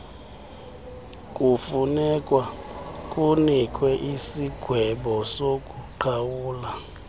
kufunekwa kunikwe isigwebosokuqhawula